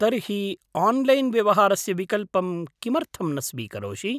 तर्हि, आन्लैन् व्यवहारस्य विकल्पं किमर्थं न स्वीकरोषि?